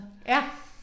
Ja